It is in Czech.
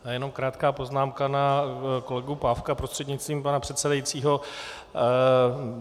Já jenom krátkou poznámku na kolegu Pávka prostřednictvím pana předsedajícího.